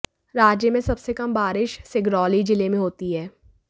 राज्य में सबसे कम बारिश सिगरौली जिले में होती है